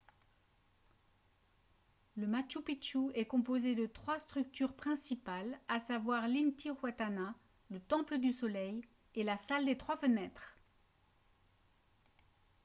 le machu picchu est composé de trois structures principales à savoir l'intihuatana le temple du soleil et la salle des trois fenêtres